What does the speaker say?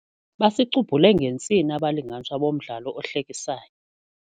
Basicubhule ngentsini abalinganiswa bomdlalo ohlekisayo.